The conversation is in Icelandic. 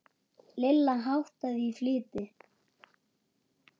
Lilla háttaði í flýti.